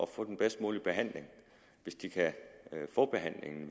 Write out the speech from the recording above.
få den bedst mulige behandling hvis de kan få behandlingen